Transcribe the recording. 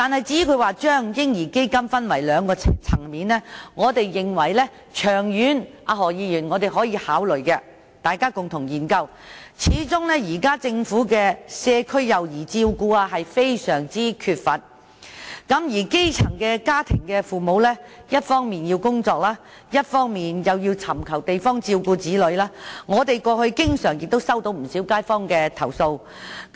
至於他提出將"嬰兒基金"分為兩個層面，我認為長遠是可以考慮的，大家可以共同研究，始終現時政府在社區對幼兒的照顧非常缺乏，而基層家庭的父母一方面要工作，另一方面又要尋找方法照顧子女，我們過去也經常接獲不少街坊的投訴。